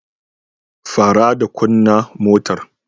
Fara da kunna motar.